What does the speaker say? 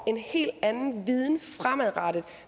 en helt anden viden fremadrettet